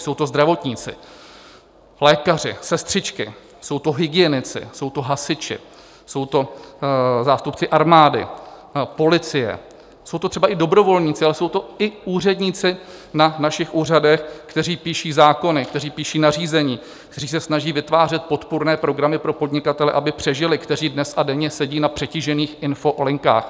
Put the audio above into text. Jsou to zdravotníci, lékaři, sestřičky, jsou to hygienici, jsou to hasiči, jsou to zástupci armády, policie, jsou to třeba i dobrovolníci, ale jsou to i úředníci na našich úřadech, kteří píší zákony, kteří píší nařízení, kteří se snaží vytvářet podpůrné programy pro podnikatele, aby přežili, kteří dnes a denně sedí na přetížených infolinkách.